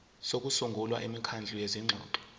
sokusungula imikhandlu yezingxoxo